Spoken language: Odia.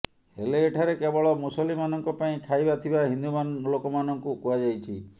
ହେଲେ ଏଠାରେ କେବଳ ମୁସଲିମାନଙ୍କ ପାଇଁ ଖାଇବା ଥିବା ହିନ୍ଦୁ ଲୋକମାନଙ୍କୁ କୁହାଯାଇଛି